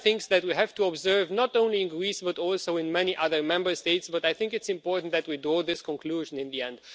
These are things that we have to observe not only in Greece but also in many other Member States, but I think it's important that we draw this conclusion in the end.